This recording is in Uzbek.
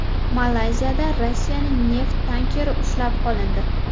Malayziyada Rossiyaning neft tankeri ushlab qolindi.